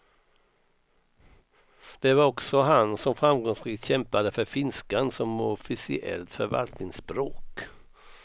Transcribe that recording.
Det var också han som framgångsrikt kämpade för finskan som officiellt förvaltningsspråk.